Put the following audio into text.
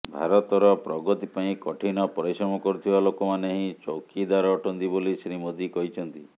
ଭାରତର ପ୍ରଗତି ପାଇଁ କଠିନ ପରିଶ୍ରମ କରୁଥିବା ଲୋକମାନେ ହିଁ ଚୌକିଦାର ଅଟନ୍ତି ବୋଲି ଶ୍ରୀ ମୋଦୀ କହିଛନ୍ତି